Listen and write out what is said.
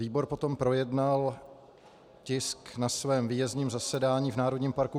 Výbor potom projednal tisk na svém výjezdním zasedání v Národním parku